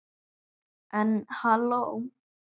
En halló.